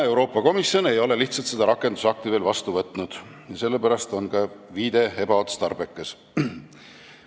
Euroopa Komisjon ei ole lihtsalt seda rakendusakti veel vastu võtnud, seepärast on ka viide sellele ebaotstarbekas.